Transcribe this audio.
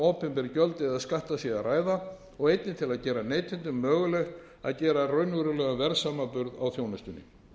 opinber gjöld eða skatta sé að ræða og einnig til að gera neytendum mögulegt að gera raunverulegan verðsamanburð á þjónustunni